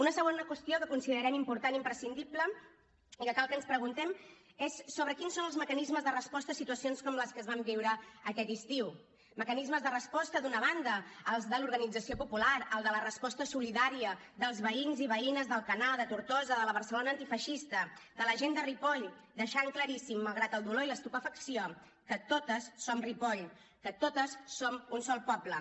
una segona qüestió que considerem important i imprescindible i que cal que ens preguntem és sobre quins són els mecanismes de resposta a situacions com les que es van viure aquest estiu mecanismes de resposta d’una banda els de l’organització popular el de la resposta solidària dels veïns i veïnes d’alcanar de tortosa de la barcelona antifeixista de la gent de ripoll per deixar claríssim malgrat el dolor i l’estupefacció que totes som ripoll que totes som un sol poble